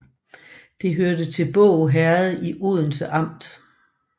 Det hørte til Båg Herred i Odense Amt